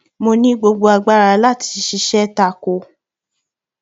mo ní gbogbo agbára láti ṣiṣẹ ta kò ó